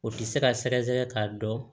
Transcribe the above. O ti se ka sɛgɛsɛgɛ k'a dɔn